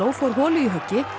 fór holu í höggi